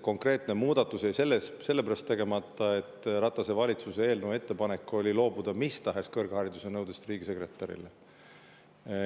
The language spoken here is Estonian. konkreetne muudatus jäi selle pärast tegemata, et Ratase valitsuse eelnõu ettepanek oli loobuda mis tahes kõrghariduse nõudest riigisekretärile.